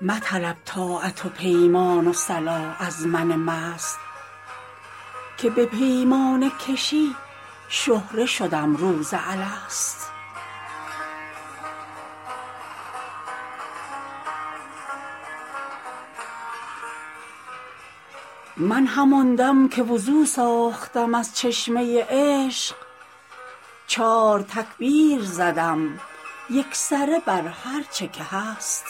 مطلب طاعت و پیمان و صلاح از من مست که به پیمانه کشی شهره شدم روز الست من همان دم که وضو ساختم از چشمه عشق چار تکبیر زدم یکسره بر هرچه که هست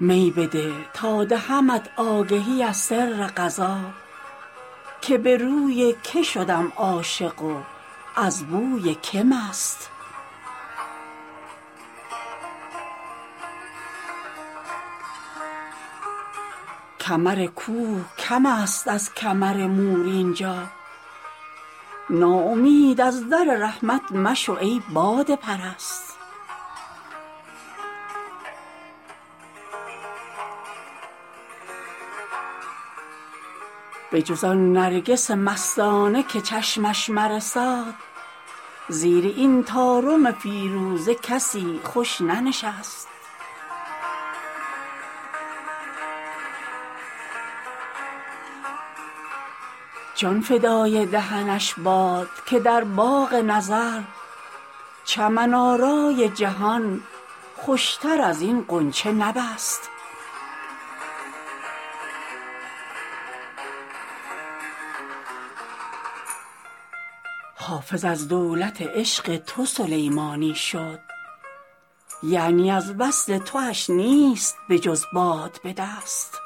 می بده تا دهمت آگهی از سر قضا که به روی که شدم عاشق و از بوی که مست کمر کوه کم است از کمر مور اینجا ناامید از در رحمت مشو ای باده پرست بجز آن نرگس مستانه که چشمش مرساد زیر این طارم فیروزه کسی خوش ننشست جان فدای دهنش باد که در باغ نظر چمن آرای جهان خوشتر از این غنچه نبست حافظ از دولت عشق تو سلیمانی شد یعنی از وصل تواش نیست بجز باد به دست